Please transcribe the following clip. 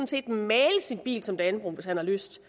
set male sin bil som dannebrog hvis han har lyst